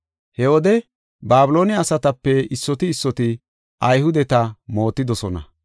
He wode Babiloone asatape issoti issoti Ayhudeta mootidosona.